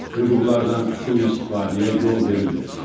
Hüquqlardan sui-istifadəyə yol verilmir.